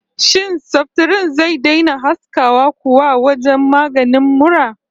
Shin saftirin zai daina haskawa kuwa wajen maganin mura?